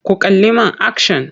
Ku kalli man akshan!